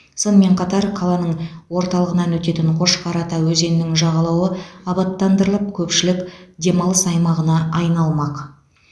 сонымен қатар қаланың орталығынан өтетін қошқар ата өзенінің жағалауы абаттандырылып көпшілік демалыс аймағына айналмақ